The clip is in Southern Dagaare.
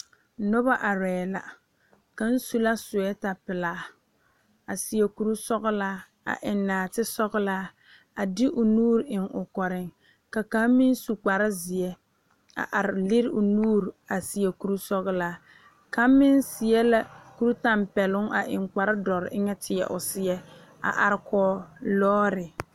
Noba arɛɛ la kaŋ su la soɔreta pelaa a seɛ kuri sɔgelaa a eŋ naate sɔgelaa a de o nuure eŋ o kɔreŋ ka kaŋ me lŋ su kpar zeɛ a are lere o nuure a seɛ kuri sɔgelaa kaŋ meŋ seɛ la kuri tɛmpɛloŋ na eŋ kpar dɔre tie o seɛ a are kɔge lɔɔte